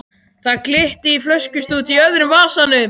Það glitti í flöskustút í öðrum vasanum.